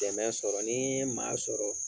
Dɛmɛ sɔrɔ ni n ye maa sɔrɔ